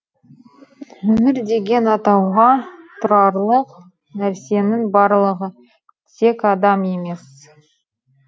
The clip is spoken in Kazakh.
өмір деген атауға тұрарлық нәрсенің барлығы тек адам емес